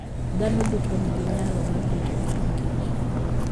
Dhano duto nigi nyalo mar rito ngima Kich.